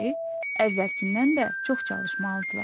əvvəlkindən də çox çalışmalıdırlar.